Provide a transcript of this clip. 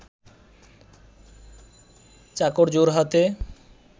চাকর জোড়হাতে